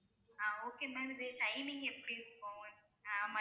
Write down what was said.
ஆஹ் okay ma'am இது timing எப்படி இருக்கும் ஆஹ்